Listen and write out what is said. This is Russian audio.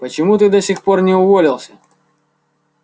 почему ты до сих пор не уволился